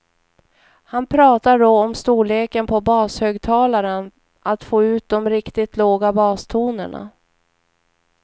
Han pratar då om storleken på bashögtalaren, att få ut de riktigt låga bastonerna.